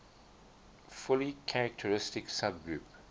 fully characteristic subgroup